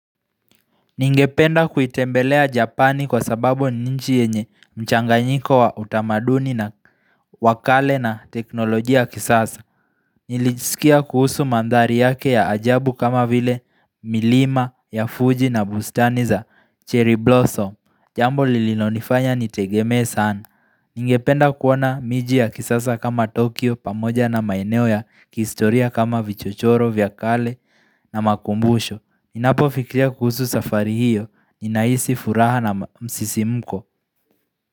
Ningependa kuitembelea Japani kwa sababu ni nichi yenye mchanga nyiko wa utamaduni na wakale na teknolojia kisasa. Nilijisikia kuhusu mandhari yake ya ajabu kama vile milima ya Fuji na bustani za cherry blossom. Jambo lilinonifanya nitegemee sana. Ningependa kuwona miji ya kisasa kama Tokyo pamoja na maeneo ya kistoria kama vichochoro, vyakale na makumbusho. Ninapo fikiria kuhusu safari hiyo, ninaisi furaha na msisi mko.